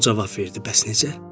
O cavab verdi: "Bəs necə?"